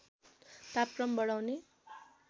तापक्रम बढाउने